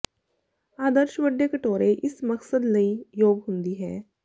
ਆਦਰਸ਼ ਵੱਡੇ ਕਟੋਰੇ ਇਸ ਮਕਸਦ ਲਈ ਯੋਗ ਹੁੰਦੀ ਹੈ